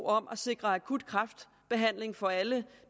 om at sikre akut kræftbehandling for alle